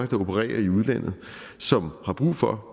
der opererer i udlandet som har brug for